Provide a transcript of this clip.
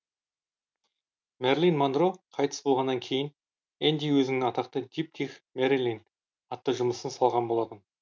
мэрлин монро қайтыс болғаннан кейін энди өзіннің атақты диптих мэрилин атты жұмысын салған болатын